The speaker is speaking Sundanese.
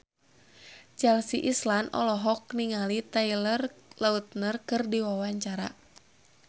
Chelsea Islan olohok ningali Taylor Lautner keur diwawancara